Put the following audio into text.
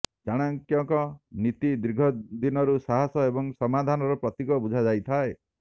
ଚାଣକ୍ୟକଙ୍କ ନୀତି ଦୀର୍ଘ ଦିନରୁ ସାହସ ଏବଂ ସମାଧନାର ପ୍ରତୀକ ବୁଝା ଯାଇଥାଏ